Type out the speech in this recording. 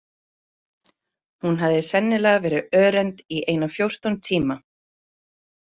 Hún hafði sennilega verið örend í eina fjórtán tíma.